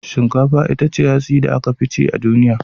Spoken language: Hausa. Shinkafa ita ce hatsi da aka fi cin a duniya